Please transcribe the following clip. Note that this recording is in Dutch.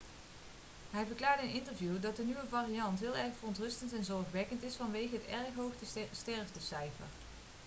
hij verklaarde in een interview dat de nieuwe variant heel erg verontrustend en zorgwekkend is vanwege het erg hoge sterftecijfer'